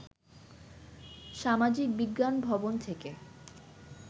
সামাজিকবিজ্ঞান ভবন থেকে